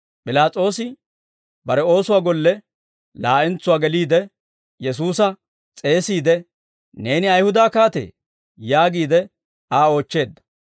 P'ilaas'oosi bare oosuwaa golle laa'entsuwaa geliide, Yesuusa s'eesiide, «Neeni Ayihuda kaatee?» yaagiide Aa oochcheedda.